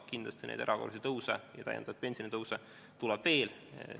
Kindlasti tuleb neid erakorralisi ja täiendavaid pensionitõuse veel.